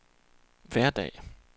hverdag